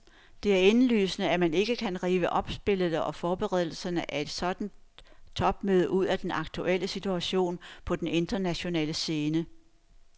Det er indlysende, at man ikke kan rive opspillet og forberedelserne af et sådant topmøde ud af den aktuelle situation på den internationale scene.